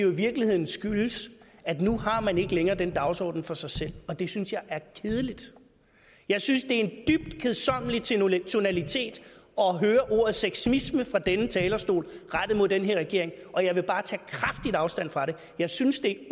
i virkeligheden skyldes at nu har man ikke længere den dagsorden for sig selv og det synes jeg er kedeligt jeg synes det er en dybt kedsommelig tonalitet at høre ordet sexisme fra denne talerstol rettet mod den her regering og jeg vil bare tage kraftigt afstand fra det jeg synes det